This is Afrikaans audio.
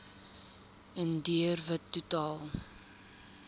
indiër wit totaal